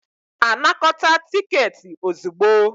Anakọta tiketi ozugbo.